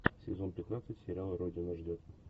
сезон пятнадцать сериал родина ждет